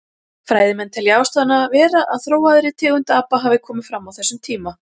Fræðimenn telja ástæðuna vera að þróaðri tegund apa hafi komið fram á þessum tíma.